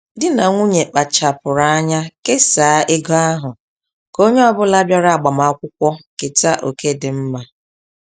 Di na nwunye kpachapụrụ anya kesaa ego ahụ, k'onye ọbula bịara agbamakwụkwọ keta oké dị mma.